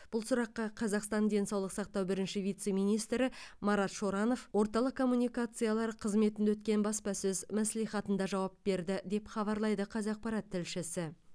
бұл сұраққа қазақстан денсаулық сақтау бірінші вице министрі марат шоранов орталық комуникациялар қызметінде өткен баспасөз мәслихатында жауап берді деп хабарлайды қазақпарат тілшісі